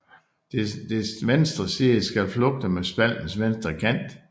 Dets venstre side skal flugte med spaltens venstre kant